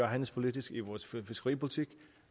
handelspolitik i vores fiskeripolitik